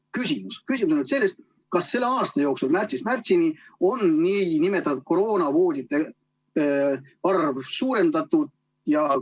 Küsimus on selline: kas selle viimase aasta jooksul, märtsist märtsini on kroonavoodite arvu suurendatud?